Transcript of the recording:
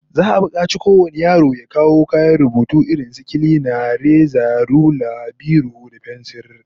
Za'a bukaci kowane yaro ya kawo kayan rubutu irin su kilina, reza, rula, biro da fensir